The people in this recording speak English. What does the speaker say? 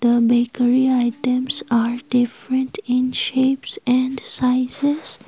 the bakery items are different in shapes and sizes.